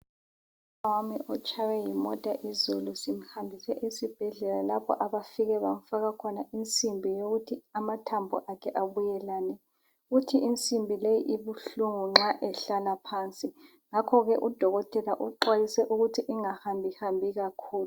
Umnawami utshaywe yimota izolo. Simhambise esibhedlela izolo lapho abafike bamfaka khona insimbi yokuthi amathambo akhe abuyelane. Uthi insimbi leyi ibuhlungu nxa ehlala phansi. Ngakho ke udokotela uxhwayise ukuthi engahambahambi kakhulu.